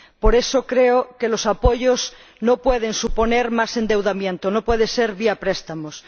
Por eso, creo que los apoyos no pueden suponer más endeudamiento, no pueden ser vía préstamos.